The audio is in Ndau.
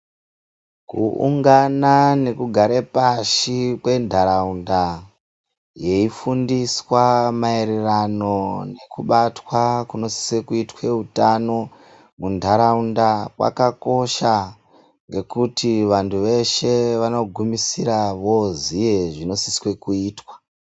Kuungana nekugare pashi kwentharaunda yeifundiswa maererano nekubatwa kunosise kuitwe utano muntharaunda kwakakosha ngekuti vantu veshe vanogumisira vozooziye zvinosiswe kuitwa.